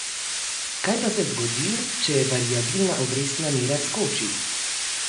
Kaj pa se zgodi, če variabilna obrestna mera skoči?